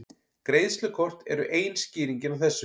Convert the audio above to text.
Greiðslukort eru ein skýringin á þessu.